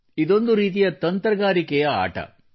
ಇದೊಂದು ರೀತಿಯ ತಂತ್ರಗಾರಿಕೆಯ ಆಟವಾಗಿದೆ